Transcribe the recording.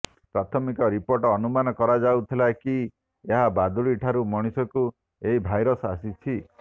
ପ୍ରାଥମିକ ରିପୋର୍ଟ ଅନୁମାନ କରାଯାଉଥିଲା କି ଏହା ବାଦୁଡି ଠାରୁ ମଣିଷକୁ ଏହି ଭାଇରସ ଆସିଛି